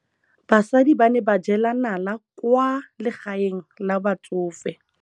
Basadi ba ne ba jela nala kwaa legaeng la batsofe.